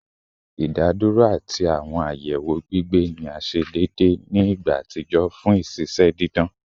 Idaduro ati awọn sọwedowo gbigbe ni a ṣe deede ni igba atijọ fun iṣiṣẹ didan